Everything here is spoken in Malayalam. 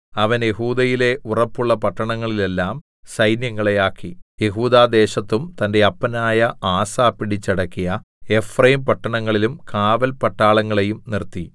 അവൻ യെഹൂദയിലെ ഉറപ്പുള്ള പട്ടണങ്ങളിലെല്ലാം സൈന്യങ്ങളെ ആക്കി യെഹൂദാ ദേശത്തും തന്റെ അപ്പനായ ആസാ പിടിച്ചടക്കിയ എഫ്രയീം പട്ടണങ്ങളിലും കാവൽ പട്ടാളങ്ങളെയും നിർത്തി